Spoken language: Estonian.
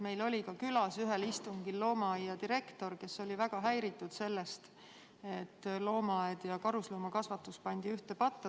Meil oli külas ühel istungil ka loomaaia direktor, kes oli väga häiritud sellest, et loomaaed ja karusloomakasvatus pandi ühte patta.